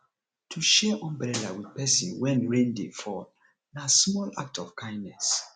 to share umbrella with persin when rain de fall na small act of kindness